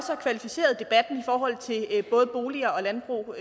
kvalificeret debatten i forhold til både boliger og landbrug